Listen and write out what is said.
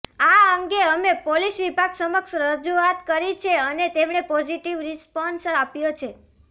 આ અંગે અમે પોલીસ વિભાગ સમક્ષ રજૂઆત કરી છે અને તેમણે પોઝિટિવ રિસ્પોન્સ આપ્યો છે